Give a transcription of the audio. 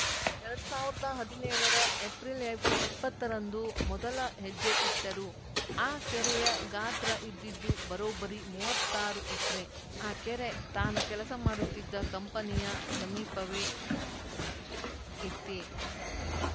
ಎರಡ್ ಸಾವಿರದ ಹದಿನೇಳರ ಏಪ್ರಿಲ್‌ ಇಪ್ಪತ್ತರಂದು ಮೊದಲ ಹೆಜ್ಜೆ ಇಟ್ಟರು ಆ ಕೆರೆಯ ಗಾತ್ರ ಇದ್ದಿದ್ದು ಬರೋಬ್ಬರಿ ಮೂವತ್ತಾರು ಎಕ್ರೆ ಆ ಕೆರೆ ತಾನು ಕೆಲಸ ಮಾಡುತ್ತಿದ್ದ ಕಂಪನಿಯ ಸಮೀಪವೇ ಇತ್ತೇ